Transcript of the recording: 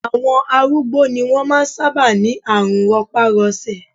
Àwọn arúgbó ni wọ́n máa ń sábà ní àrùn rọpárọsẹ̀